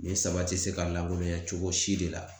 Nin saba ti se ka lankolonya cogo si de la.